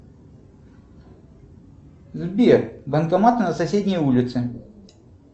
сбер банкомат на соседней улице